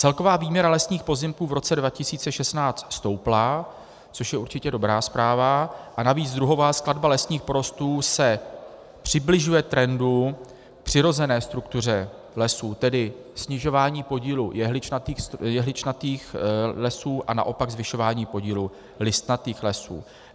Celková výměra lesních pozemků v roce 2016 stoupla, což je určitě dobrá zpráva, a navíc druhová skladba lesních porostů se přibližuje trendu, přirozené struktuře lesů, tedy snižování podílu jehličnatých lesů a naopak zvyšování podílu listnatých lesů.